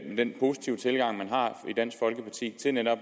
den positive tilgang man har i dansk folkeparti til netop